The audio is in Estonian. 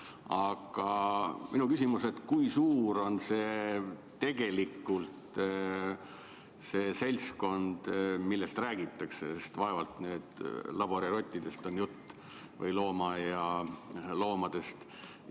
Aga minu küsimus: kui suur on tegelikult see seltskond, millest räägitakse, sest vaevalt nüüd on jutt laborirottidest või loomaaialoomadest?